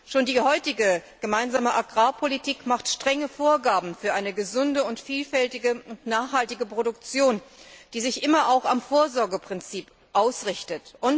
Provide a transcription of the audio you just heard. Schon die heutige gemeinsame Agrarpolitik macht strenge Vorgaben für eine gesunde, vielfältige und nachhaltige Produktion, die sich immer auch am Vorsorgeprinzip ausrichtet.